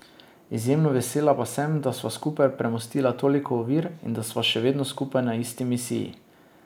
Izjemno vesela pa sem, da sva skupaj premostila toliko ovir in da sva še vedno skupaj na isti misiji.